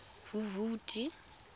huhudi